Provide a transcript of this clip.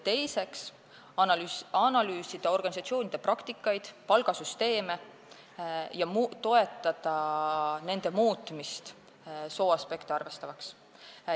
Teiseks tuleb analüüsida organisatsioonide praktikaid ja palgasüsteeme ning toetada nende muutmist sooaspekte arvestavaks.